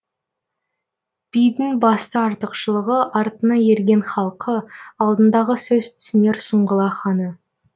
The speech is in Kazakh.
бидің басты артықшылығы артына ерген халқы алдындағы сөз түсінер сұңғыла ханы